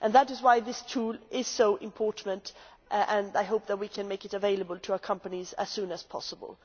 That is why this tool is so important and I hope that we can make it available to our companies as soon as possible.